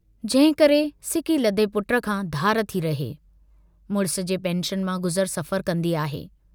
जंहिंकरे सिकीलधे पुट खां धार थी रहे, मुड़िस जे पेंशन मां गुज़र सफर कन्दी आहे।